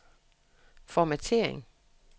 formattering